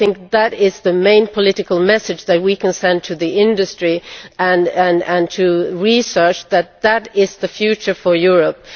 I think that is the main political message that we can send to the industry and to research that this is the future for Europe.